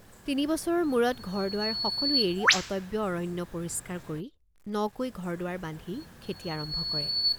তিনি বছৰৰ মূৰত ঘৰদুৱাৰ সকলো এৰি অটব্য অৰণ্য পৰিষ্কাৰ কৰি নকৈ ঘৰদুৱাৰ বান্ধি খেতি আৰম্ভ কৰে।